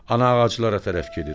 Ana ağaclara tərəf gedir.